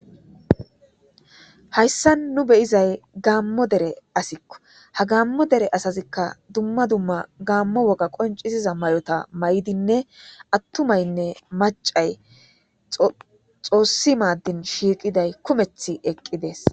Hayssan nu be'zzayi Gamo Dera assakko. Ha Gamo Dera assazikka dumma dumma Gamo woga qoncisiza mayyoththa mayidinne atumayinne maccayi xossi madin shiqiday kumethi eqidess.